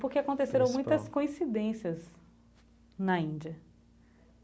Porque aconteceram muitas coincidências na Índia.